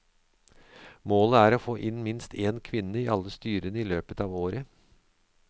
Målet er å få inn minst en kvinne i alle styrene i løpet av året.